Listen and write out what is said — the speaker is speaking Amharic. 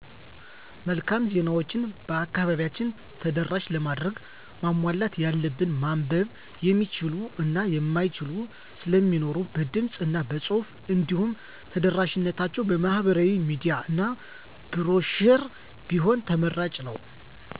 መልካም ዜናዎችን በአከባቢያችን ተደራሽ ለማድረግ ማሟላት ያለበት ማንበብ የሚችሉ እና የማይችሉ ስለሚኖሩ በድምፅ እና በፁሑፍ እንዲሁም ተደራሽነታቸውን በማህበራዊ ሚዲያ እና ብሮሸር ቢሆን ተመራጭ ነው።